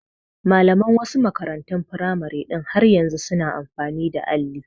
Malaman wasu makarantun firamare ɗin har yanzu su na amfani da alli